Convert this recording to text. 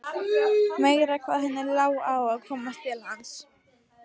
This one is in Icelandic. Meira hvað henni lá á að komast til hans!